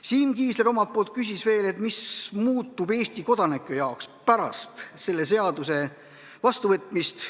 Siim Kiisler küsis, mis muutub Eesti kodanike jaoks pärast selle seaduse vastuvõtmist.